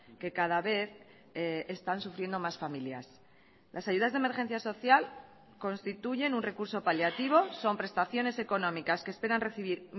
que cada vez están sufriendo más familias las ayudas de emergencia social constituyen un recurso paliativo son prestaciones económicas que esperan recibir